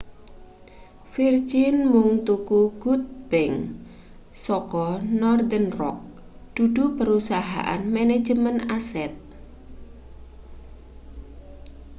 virgin mung tuku good bank' saka northern rock dudu perusahaan manajemen aset